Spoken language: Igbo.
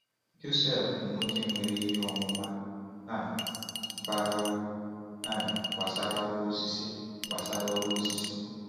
Joseph bụ nwoke nwere ihe ọmụma um bara uru um gbasara ọrụ osisi. gbasara ọrụ osisi.